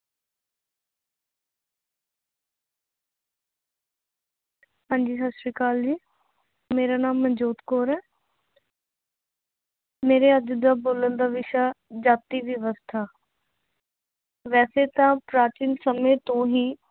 ਹਾਂਜੀ ਸਤਿ ਸ੍ਰੀ ਅਕਾਲ ਜੀ, ਮੇਰਾ ਨਾਂ ਮਨਜੋਤ ਕੌਰ ਹੈ ਮੇਰੇ ਅੱਜ ਦਾ ਬੋਲਣ ਦਾ ਵਿਸ਼ਾ ਜਾਤੀ ਵਿਵਸਥਾ ਵੈਸੇ ਤਾਂ ਪ੍ਰਾਚੀਨ ਸਮੇਂ ਤੋਂ ਹੀ